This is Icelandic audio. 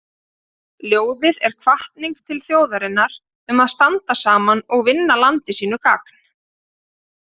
Ljóðið er hvatning til þjóðarinnar um að standa saman og vinna landi sínu gagn.